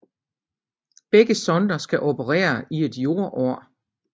Begge sonder skal operere i et jordår